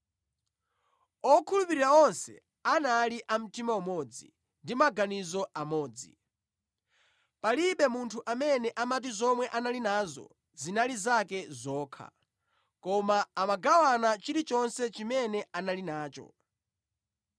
Okhulupirira onse anali a mtima umodzi, ndi maganizo amodzi. Palibe munthu amene amati zomwe anali nazo zinali zake zokha, koma amagawana chilichonse chimene anali nacho.